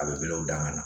A bɛlew dangan na